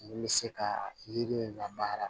Ni bɛ se ka yiri in labara